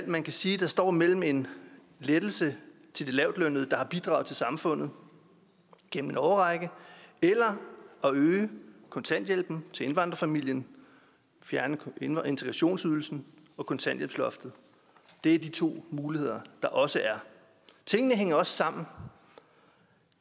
man kan sige står imellem en lettelse til de lavtlønnede der har bidraget til samfundet gennem en årrække eller at øge kontanthjælpen til indvandrerfamilien fjerne integrationsydelsen og kontanthjælpsloftet det er de to muligheder der også er tingene hænger også sammen